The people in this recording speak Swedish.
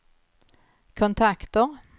kontakter